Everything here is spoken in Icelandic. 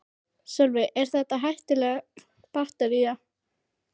Sölvi: Er þetta hættuleg baktería?